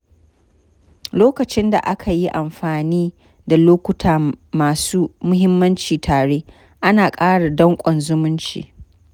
Lokacin da aka yi amfani da lokuta masu muhimmanci tare, ana ƙara dankon zumunci.